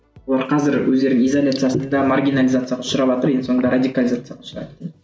олар қазір өздері изолизациясында маргинализацияға ұшыраватыр енді соңында радикализацияға ұшырайды